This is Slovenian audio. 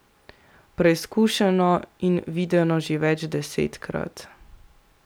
Preizkušeno in videno že več desetkrat.